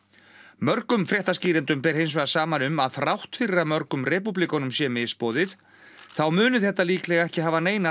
mörgum fréttaskýrendum ber hins vegar saman um að þrátt fyrir að mörgum repúblikönum sé misboðið þá muni þetta líklega ekki hafa neinar